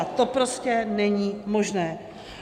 A to prostě není možné.